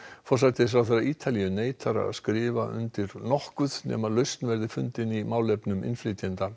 forsætisráðherra Ítalíu neitar að skrifar undir nokkuð nema lausn verði fundin í málefnum innflytjenda